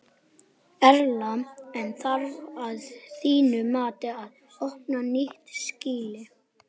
Erla: En þarf að þínu mati að opna nýtt skýli?